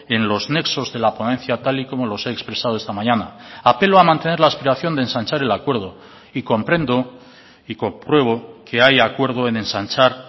en los nexos de la ponencia tal y como los he expresado esta mañana apelo a mantener la aspiración de ensanchar el acuerdo y comprendo y compruebo que hay acuerdo en ensanchar